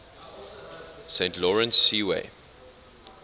saint lawrence seaway